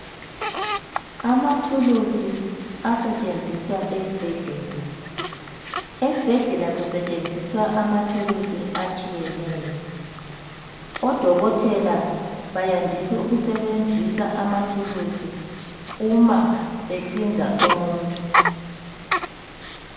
Amathulusi asetshenziswa esbhedlela, esbhedlela Kusetshenziswa amathulusi atshiyeneyo, oDokothela bayandisa ukusebenzisa amathuluzi uma behlinza umuntu.